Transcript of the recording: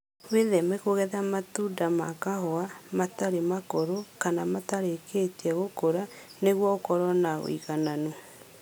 Wĩtheme kũgetha matunda ma kahũa matarĩ makũrũ kana makĩrĩtie gũkũra nĩguo ũkorwo na ũigananu